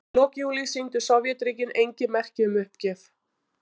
Í lok júlí sýndu Sovétríkin engin merki um uppgjöf.